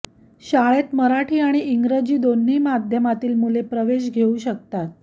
शाळेत मराठी आणि इंग्रजी दोन्ही माध्यमातील मुले प्रवेश घेऊ शकतात